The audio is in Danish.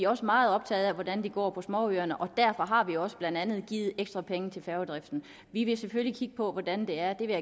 også meget optaget af hvordan det går på småøerne derfor har vi også blandt andet givet ekstra penge til færgedriften vi vil selvfølgelig kigge på hvordan det er det vil